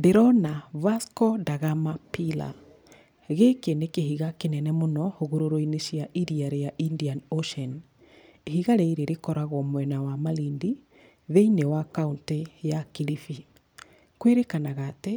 Ndĩrona Vasco da Gama Pillar, gĩkĩ nĩ kĩhiga kĩnene mũno, hũgũrũrũ-inĩ cia iria rĩa Indian Ocean, ihiga rĩrĩ rĩkoragwo mwena wa Malindi, thĩinĩ wa kauntĩ ya Kilifi. Kwĩrĩkanaga atĩ,